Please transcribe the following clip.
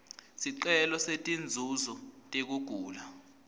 sicelo setinzuzo tekugula